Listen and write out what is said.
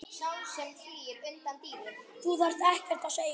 Þú þarft ekkert að segja.